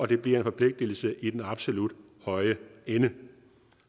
det bliver en forpligtelse i den absolut høje ende